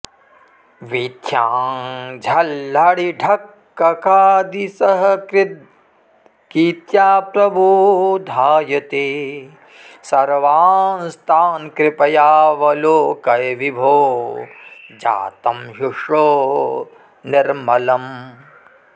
वीथ्यां झल्लरिढक्ककादिसहकृद्गीत्या प्रबोधाय ते सर्वांस्तान् कृपयावलोकय विभो जातं ह्युषो निर्मलम्